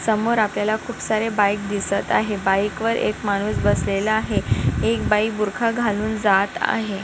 समोर आपल्याला खूप सारे बाइक दिसत आहे बाइक वर एक माणूस बसलेला आहे एक बाई बुरका घालून जात आहे.